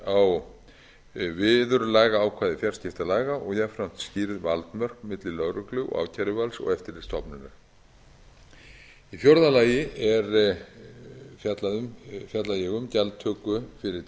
skerpt á viðurlagaákvæði fjarskiptalaga og jafnframt skýrð valdmörk milli lögreglu og ákæruvalds og eftirlitsstofnunar í fjórða lagi fjalla ég um gjaldtöku fyrir tíðniheimildir þar er um